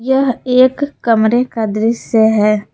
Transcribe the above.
यह एक कमरे का दृश्य है।